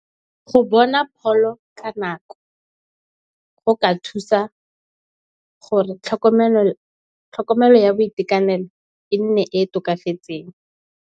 Go bona pholo ka nako, go ka thusa gore tlhokomelo ya boitekanelo e nne e e tokafetseng.